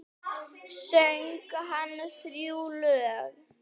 Söng hann þrjú lög.